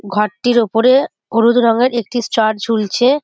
ঘরটির ওপরে হলুদ রঙের একটি স্টার ঝুলছে।